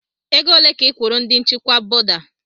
Ego ole ka ị kwụrụ ndi nchịkwa bọda?